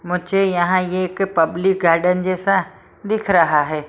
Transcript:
मुझे यहां ये एक पब्लिक गार्डन जैसा दिख रहा है।